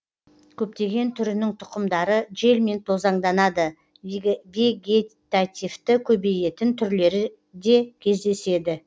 көптеген түрінің тұқымдары желмен тозаңданады вегетативті көбейетін түрлері де кездеседі